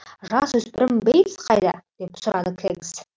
жасөспірім бейтс қайда деп сұрады кэгс